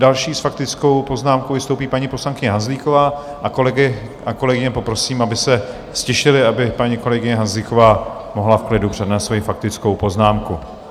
Další s faktickou poznámkou vystoupí paní poslankyně Hanzlíková a kolegy a kolegyně poprosím, aby se ztišili, aby paní kolegyně Hanzlíková mohla v klidu přednést svoji faktickou poznámku.